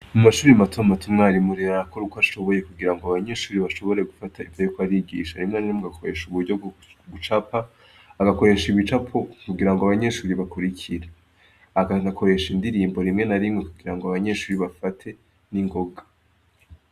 Mu mashuri mato mato umwarimu ariko arakora uko ashoboye kugira ngo abanyeshuri bashobore gufata ivyo ariko arigisha. Rimwe na rimwe, agakorehesha uburyo bwo gucapa. Agakoresha ibicapo kugira ngo abanyeshuri bakurikire. Akanakoresha indirimbo rimwe na rimwe, kugira ngo abanyeshuri bafate n'ingoga.